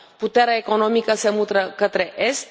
Puterea economică se mută către est.